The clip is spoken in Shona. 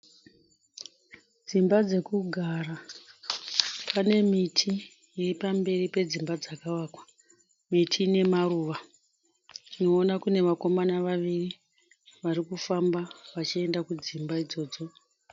Dzimba dzekugara. Pane miti iri pamberi pedzimba dzakavakwa, miti nemaruva. Tinoona kune vakomana vaviri varikufamba vachienda kudzimba idzodzo.